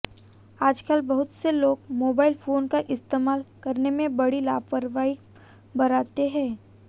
आजकल बहुत से लोग मोबाइल फोन का इस्तेमाल करने में बड़ी लापरवाही बरतते हैं